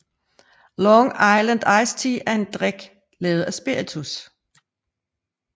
Long Island Iced Tea er en drik lavet af spiritus